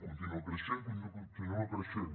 continua creixent continua creixent